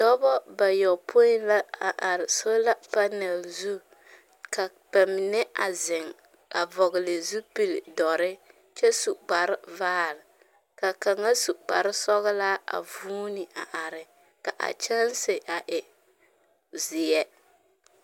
Dɔba bayɔpõĩ la a are sola panɛl zu, ka ba mine a zeŋ, a vɔgle zupil-dɔre kyɛ su kparevaare, ka kaŋa su kparesɔglaa a vuuni a are, ka a kyɛnse a e, zeɛ.